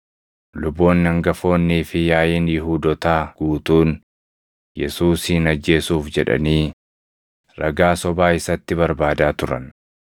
Luboonni hangafoonnii fi yaaʼiin Yihuudootaa guutuun Yesuusin ajjeesuuf jedhanii ragaa sobaa isatti barbaadaa turan.